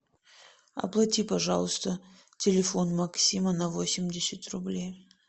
оплати пожалуйста телефон максима на восемьдесят рублей